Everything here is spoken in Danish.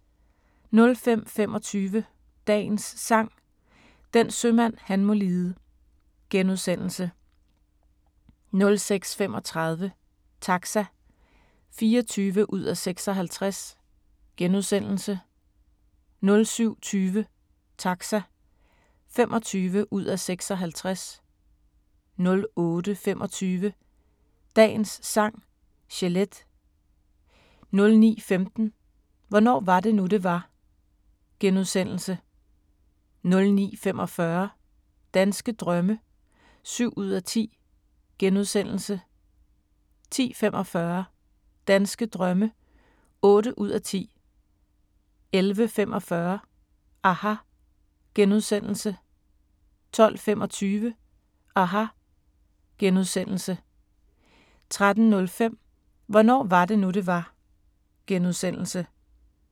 05:25: Dagens Sang: Den sømand han må lide * 06:35: Taxa (24:56)* 07:20: Taxa (25:56) 08:25: Dagens Sang: Chelete 09:15: Hvornår var det nu, det var? * 09:45: Danske drømme (7:10)* 10:45: Danske drømme (8:10) 11:45: aHA! * 12:25: aHA! * 13:05: Hvornår var det nu, det var? *